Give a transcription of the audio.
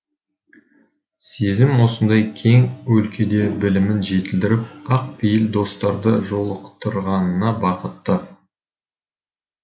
сезім осындай кең өлкеде білімін жетілдіріп ақ пейіл достарды жолықтырғанына бақытты